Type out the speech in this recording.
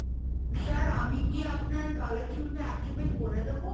sir আমি কি আপনার caller tune টা activate করে দেবো?